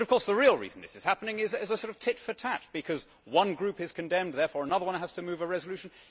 But of course the real reason this is happening is a sort of tit for tat because one group is condemned, therefore another one has to move a resolution.